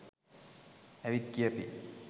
ඇවිත් කියපි